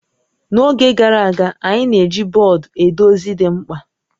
N'oge gara aga, anyị na-eji bọọdụ ede ozi dị mkpa